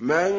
مَن